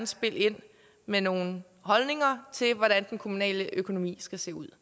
spille ind med nogle holdninger til hvordan den kommunale økonomi skal se ud